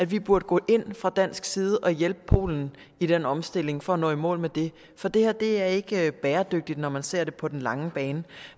vi burde gå ind fra dansk side og hjælpe polen i den omstilling for at nå i mål med det for det her er ikke bæredygtigt når man ser det på den lange bane